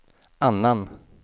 annan